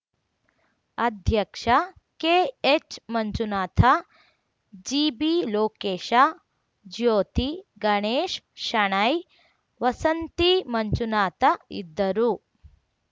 ಅಧ್ಯಕ್ಷ ಕೆಎಚ್‌ಮಂಜುನಾಥ ಜಿಬಿಲೋಕೇಶ ಜ್ಯೋತಿ ಗಣೇಶ್ ಶೆಣೈ ವಸಂತಿ ಮಂಜುನಾಥ ಇದ್ದರು